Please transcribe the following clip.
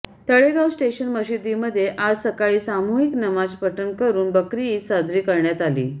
Talegaon station मशिदीमध्ये आज सकाळी सामूहिक नमाज पठण करून बकरी ईद साजरी करण्यात आली